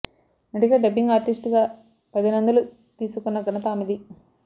నటిగా dubbing artist గా పది నందులు తీసుకున్న ఘనత ఆమెది